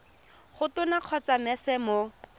go tona kgotsa mec mo